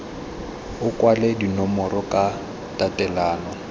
o kwale dinomoro ka tatelano